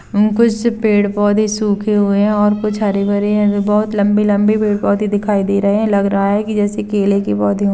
कुछ पेड़-पौधे सूखे हुए है और कुछ हरे-भरे है ऐसे बहुत बहुत लंबे-लंबे पेड़-पौधे दिखाई दे रहे है लग रहा है कि जैसे केले के --